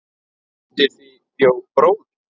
Undir því bjó bróðir